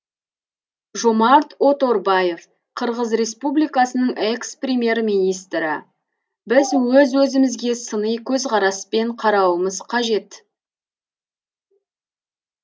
жомарт оторбаев қырғыз республикасының экс премьер министрі біз өз өзімізге сыни көзқараспен қарауымыз қажет